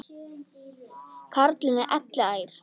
Karlinn er elliær.